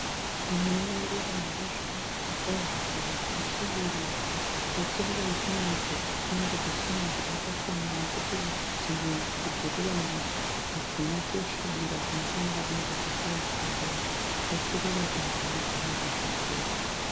Tinoona ruva rakazvinakira kwazvo ruva rakasvibirira asi ruva iri rinoratidza kuti rinenge risina mvura yakakwana nekuti dzimwe nzvimbo dzeruva iri hadzina kusvibira zvinofanira kunge zvakaita ruva asi ruva iri rakanaka zvikuru.